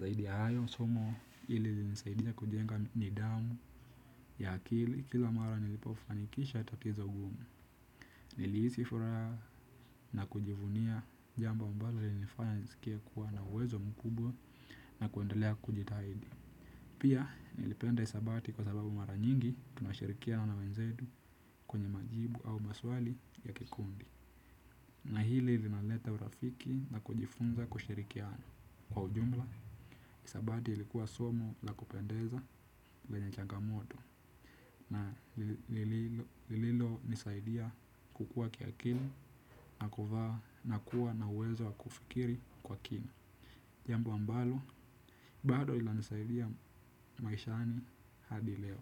Zaidi ya hayo somo hili ilinisaidia kujenga ni dhamu ya akili kila mara nilipofanikisha tatizo gumu. Nilihisi furaha na kujivunia jambo ambalo lili nifanya nisikie kuwa na uwezo mkubwa na kuendelea kujitahidi. Pia nilipenda hisabati kwa sababu mara nyingi tuna shirikiana na wenzetu kwenye majibu au maswali ya kikundi. Na hili linaleta urafiki na kujifunza kushirikia na. Kwa ujumla hisabati ilikuwa somo la kupendeza lenye changamoto na lililonisaidia kukuwa kiakili na kuwa na uwezo wa kufikiri kwa kina jambo ambalo, bado inanisaidia maishani hadi leo.